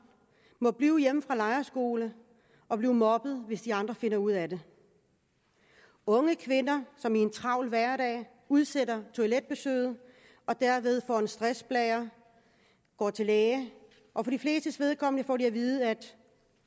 må blive hjemme fra lejrskole og bliver mobbet hvis de andre finder ud af det unge kvinder som i en travl hverdag udsætter toiletbesøget og derved får en stressblære går til læge og for de flestes vedkommende får de at vide at